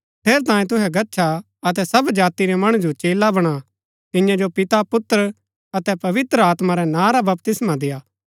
ठेरैतांये तुहै गच्छा अतै सब जाति रै मणु जो चेला बणा तियां जो पिता पुत्र अतै पवित्र आत्मा रै नां रा बपतिस्मा देय्आ